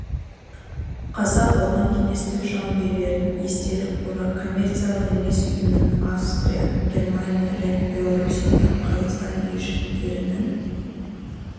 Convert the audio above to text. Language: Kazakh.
қаза болған кеңестік жауынгерлердің естелік қоры коммерциялық емес ұйымынан австрия германия мен беларусиядағы қазақстан елішіліктерінің